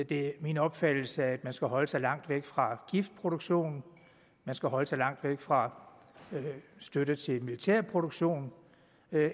det er min opfattelse at man skal holde sig langt væk fra giftproduktion man skal holde sig langt væk fra støtte til militærproduktion